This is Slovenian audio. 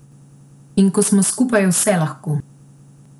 In ko smo skupaj, je vse lahko.